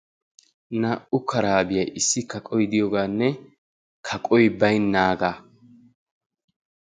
Naa"u karaabiya issi kaqoy diyogaanne kaqoy baynnaagaa.